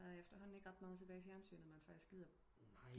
Der er efter hånden ikke ret meget tilbage i fjernsynet man faktisk gider